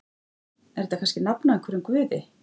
Er þetta kannski nafn á einhverjum guði?